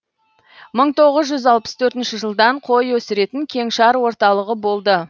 мың тоғыз жүз алпыс төртінші жылдан қой өсіретін кеңшар орталығы болды